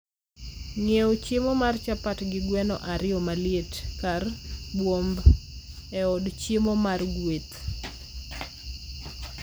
Ng?ew chiemo mar chapat gi gweno ariyo maliet kar buomb e od chiemo mar Gweth.